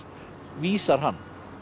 vísar hann